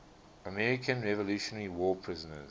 american revolutionary war prisoners